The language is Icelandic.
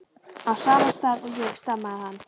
á sama stað og ég, stamaði hann.